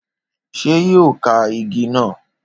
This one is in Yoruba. Ṣé yóò ka igi náà?